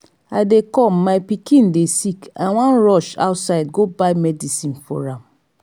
i dey come my pikin dey sick so i wan rush outside go buy medicine for am